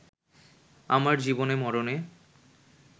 আমার জীবনে-মরণে